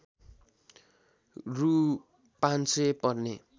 रु ५०० पर्ने